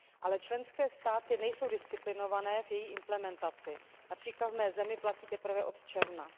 Ale členské státy nejsou disciplinované v její implementaci, např. v mé zemi platí teprve od června.